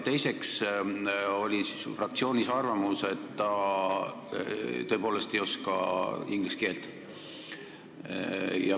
Teiseks oli fraktsioonis arvamus, et ta tõepoolest ei oska inglise keelt.